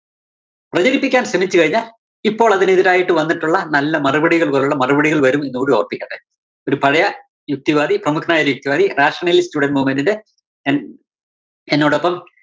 പ്രചരിപ്പിക്കാന്‍ ശ്രമിച്ച് കഴിഞ്ഞാല്‍ ഇപ്പോളതിന് എതിരായിട്ട് വന്നിട്ടുള്ള നല്ല മറുപടികള്‍ പോലുള്ള മറുപടികള്‍ വരും എന്നുകൂടി ഓര്‍മ്മിപ്പിക്കട്ടെ. ഒരു പഴയ യുക്തിവാദി യുക്തിവാദി rationalist student movement ന്റെ എന്‍ എന്നോടൊപ്പം